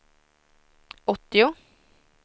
åttio